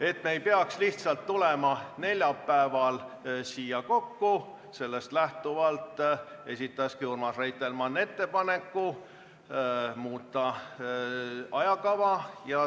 Ent selleks, et me ei peaks neljapäeval siia lihtsalt kokku tulema, esitaski Urmas Reitelmann ettepaneku muuta ajakava.